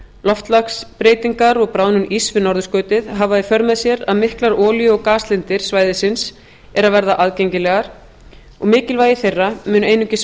loftslagsbreytingar og bráðnun íss við norðurskautið hafa í för með sér að miklar olíu og gaslindir svæðisins eru að verða aðgengilegar og mikilvægi þeirra mun einungis